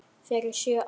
Fyrir sjö árum.